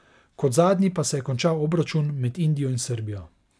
Kot zadnji pa se je končal obračun med Indijo in Srbijo.